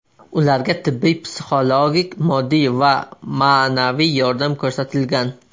Ularga tibbiy, psixologik, moddiy va ma’naviy yordam ko‘rsatilgan.